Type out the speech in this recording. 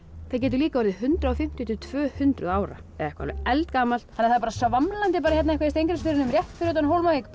það getur líka orðið hundrað og fimmtíu til tvö hundruð ára eða eitthvað eldgamalt það var svamlandi hérna í Steingrímsfirðinum rétt fyrir utan Hólmavík